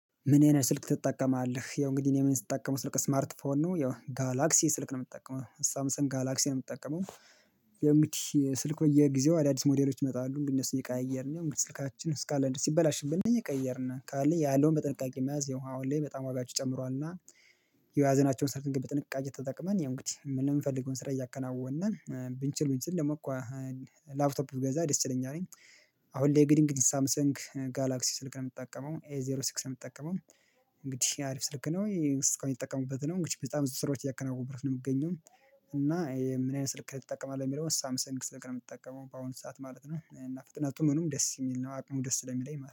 ምን አይነት ስልክ ትጠቀማለህ? ያው እንግዲህ እኔ ምን ስትጠቀሙ ስልክ ስማርት ፎን ነው ያው ጋላክሲ ስልክ ነው የምጠቀመው ሳምሰንግ ጋላክሲ ነው የምጠቀመው። ያው እንግዲህ ስልክ በየጊዜው አዳዲስ ሞዴሎች ይመጣሉ እንደነሱ እየቀየርን ስልካችን ስካለንድ ሲበላሽብን ብንቀየርን ካለን ያለውን በጥንቃቄ መያዝ ያው አሁን ላይ በጣም ዋጋቸው ጨምሯልና። የያዝናቸውን ሰልክ በጥንቃቄ ተጠቅመን ያው እንግዲህ ምንም ፈልገውን ስራ እያከናወነን ብንችል ብንችል ደግሞ እኮ። ላፕቶፕ ብገዛ ደስ ይለኛል። አሁን ላይ እንግድ ሳምሰንግ ጋላክሲ ስልክ ነው የምጠቀመው ኤ ዜሮ ሲክስ ነው የምጠቀመው። እንግዲህ የአሪፍ ስልክ ነው ይሄ ስልክ ነው የሚጠቀሙበት ነው በጣም ብዙ ስራዎች እያከናወኑ ነው የምገኘው። እና ምን አይነት ስልክ ልጠቀም አለ የሚለውን ሳምሰን ስልክ ነው የምጠቀመው በአሁን ሰዓት ማለት ነው። እና ፍጥነቱ ምኑም ደስ የሚል ነው አቅሙ ደስ ስለሚለኝ ማለት ነው